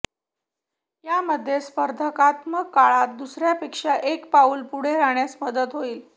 यामुळे स्पर्धात्मक काळात दुसऱ्यांपेक्षा एक पाऊल पुढे राहण्यास मदत होईल